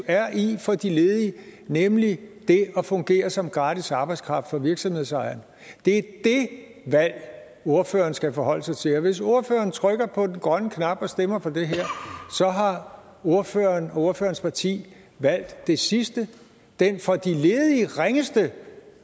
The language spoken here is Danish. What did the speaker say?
er i for de ledige nemlig det at fungere som gratis arbejdskraft for virksomhedsejeren det er dét valg ordføreren skal forholde sig til og hvis ordføreren trykker på den grønne knap og stemmer for det her så har ordføreren og ordførerens parti valgt det sidste den for de ledige ringeste